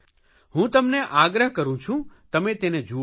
હું તમને આગ્રહ કરૂં છું તમે તેને જુઓ